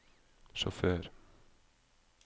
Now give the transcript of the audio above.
sjåfør